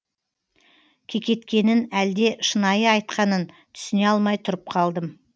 кекеткенін әлде шынайы айтқанын түсіне алмай тұрып қалдым